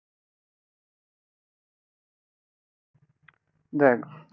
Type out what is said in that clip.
দেখ